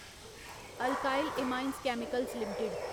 alkyl Amines Chemicals limited